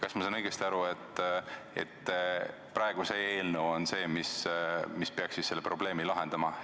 Kas ma saan õigesti aru, et see eelnõu on see, mis peaks selle probleemi lahendama?